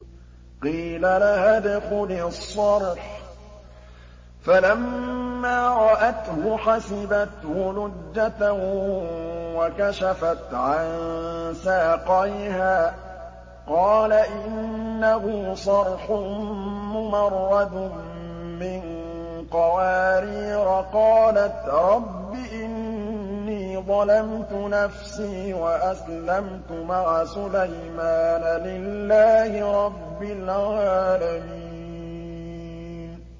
قِيلَ لَهَا ادْخُلِي الصَّرْحَ ۖ فَلَمَّا رَأَتْهُ حَسِبَتْهُ لُجَّةً وَكَشَفَتْ عَن سَاقَيْهَا ۚ قَالَ إِنَّهُ صَرْحٌ مُّمَرَّدٌ مِّن قَوَارِيرَ ۗ قَالَتْ رَبِّ إِنِّي ظَلَمْتُ نَفْسِي وَأَسْلَمْتُ مَعَ سُلَيْمَانَ لِلَّهِ رَبِّ الْعَالَمِينَ